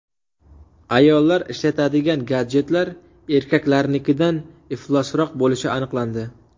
Ayollar ishlatadigan gadjetlar erkaklarnikidan iflosroq bo‘lishi aniqlandi.